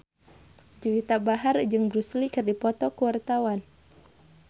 Juwita Bahar jeung Bruce Lee keur dipoto ku wartawan